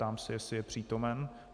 Ptám se, jestli je přítomen.